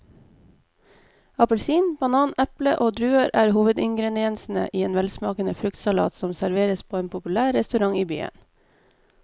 Appelsin, banan, eple og druer er hovedingredienser i en velsmakende fruktsalat som serveres på en populær restaurant i byen.